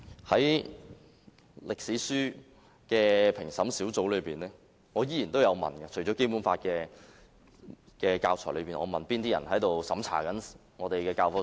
關於歷史書的評審小組，我有提問，除了《基本法》的教材，我問哪些人負責審查我們的教科書？